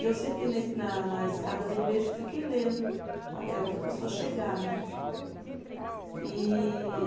E eu sentei na igre, na na escada da igreja e fiquei lendo até a outra pessoa chegar, né. E